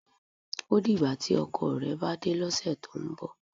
O dìgbà tí ọkọ rẹ̀ bá dé lọ́sẹ̀ tó ń bọ̀.